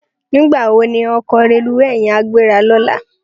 Nigbá wó ni òkò rélúwé yèn á gbérá lòlá?